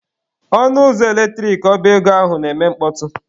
Ọnụ ụzọ eletrik ọba ego ahụ na-eme mkpọtụ.